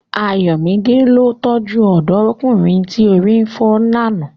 Ayomide ó tọ́jú ọ̀dọ́mọkùnrin tí orí fọ́ ní àná.